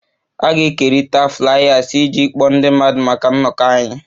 A ga-ekerịta Fliers iji kpọọ ndị mmadụ maka nnọkọ anyị